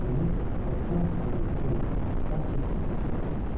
Bunu o tam aydınlığı ilə dərk etdikdən sonra ölmüşdü.